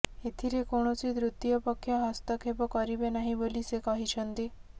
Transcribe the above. ଏଥିରେ କୌଣସି ତୃତୀୟ ପକ୍ଷ ହସ୍ତକ୍ଷେପ କରିବେ ନାହିଁ ବୋଲି ସେ କହିଛନ୍ତି